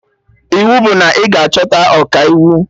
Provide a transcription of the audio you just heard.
Iwu bụ na ị ga-achọta Ọkaiwu